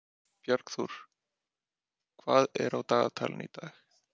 Bjargþór, hvað er á dagatalinu í dag?